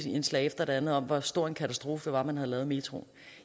indslag efter det andet om hvor stor en katastrofe det var man havde lavet metroen